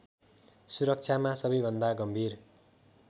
सुरक्षामा सबैभन्दा गम्भीर